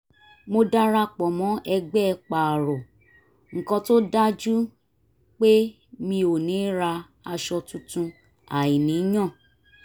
mo darapọ̀ mọ́ ẹgbẹ́ pààrọ̀ nǹkan tó dájú pé mi ò ní rà aṣọ tuntun àìníyàn